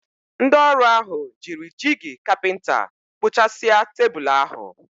Ndị ọrụ ahụ jiri jigi kapinta kpụ̀chàsia tebụl ahụ.